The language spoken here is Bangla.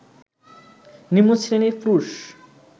নিম্নশ্রেণীর পুরুষ